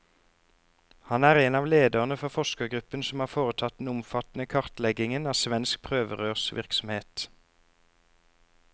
Han er en av lederne for forskergruppen som har foretatt den omfattende kartleggingen av svensk prøverørsvirksomhet.